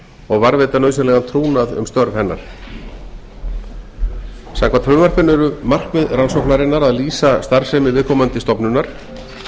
og varðveita nauðsynlegan trúnað um störf hennar samkvæmt frumvarpinu eru markmið rannsóknarinnar að lýsa starfsemi viðkomandi stofnunar